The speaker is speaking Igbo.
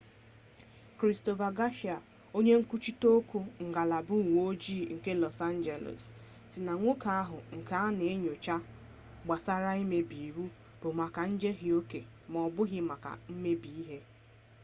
kristofa gashia onye nkwuchite okwu ngalaba uwe ojii nke lọs anjeles sị na nwoke ahụ nke a na enyocha gbasara mmebi iwu bụ maka njehie oke m'ọbụghị maka mmebi ihe